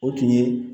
O tun ye